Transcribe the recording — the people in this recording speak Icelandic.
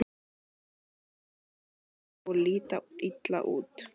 Magnús: Ryðgaðir og líta illa út?